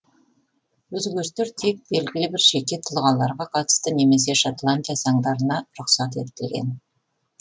өзгерістер тек белгілі бір жеке тұлғаларға қатысты немесе шотландия заңдарына рұқсат етілген